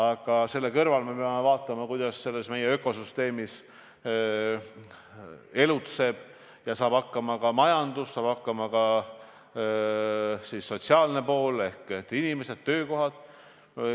Kuid siinkohal peame vaatama sedagi, kuidas meie ökosüsteemis elutseb ja saab hakkama majandus, saab hakkama sotsiaalne pool ehk inimesed ja töökohad.